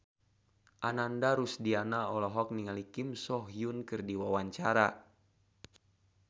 Ananda Rusdiana olohok ningali Kim So Hyun keur diwawancara